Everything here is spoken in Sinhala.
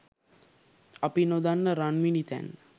අපි නොදන්න රන්මිණිතැන්න !